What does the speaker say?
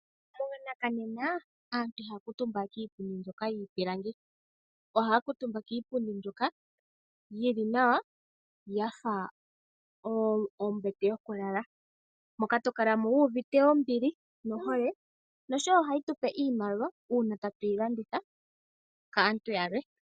Monakanena aantu ihaya kuutumba kiipundi mbyoka yiipilangi, ohaya kiitumba kiipundi mbyoka yili nawa yafa ombete yokulala moka tokalamo wuuvite ombili nohole, nosho wo ohayi tupe iimaliwa uuna tatu yilanditha kaantu yalwe.